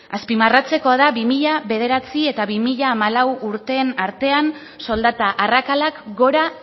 azpimarratzekoa da bi mila bederatzi eta bi mila hamalau urteen artean soldata arrakalak gora